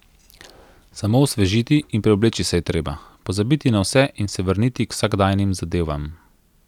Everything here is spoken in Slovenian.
Samo osvežiti in preobleči se je treba, pozabiti na vse in se vrniti k vsakdanjim zadevam.